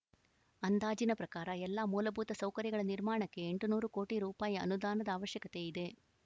ಅಂದಾಜಿನ ಪ್ರಕಾರ ಎಲ್ಲಾ ಮೂಲಭೂತ ಸೌಕರ್ಯಗಳ ನಿರ್ಮಾಣಕ್ಕೆ ಎಂಟುನೂರು ಕೋಟಿ ರೂಪಾಯಿ ಅನುದಾನದ ಅವಶ್ಯಕತೆ ಇದೆ